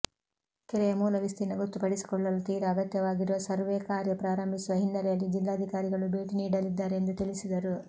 ಕೆರೆಯ ಮೂಲ ವಿಸ್ತೀರ್ಣ ಗೊತ್ತುಪಡಿಸಿಕೊಳ್ಳಲು ತೀರಾ ಅಗತ್ಯವಾಗಿರುವ ಸರ್ವೇ ಕಾರ್ಯ ಪ್ರಾರಂಭಿಸುವ ಹಿನ್ನೆಲೆಯಲ್ಲಿ ಜಿಲ್ಲಾಧಿಕಾರಿಗಳು ಭೇಟಿ ನೀಡಲಿದ್ದಾರೆ ಎಂದು ತಿಳಿಸಿದರು